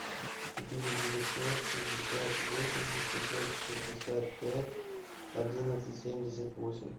четыре девятьсот шестьдесят восемь шестьсот шестьдесят пять одиннадцать семьдесят восемь